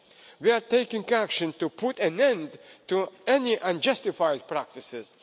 abroad. We are taking action to put an end to any unjustified practices.